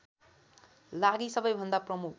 लागि सबैभन्दा प्रमुख